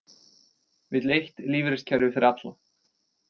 Vill eitt lífeyriskerfi fyrir alla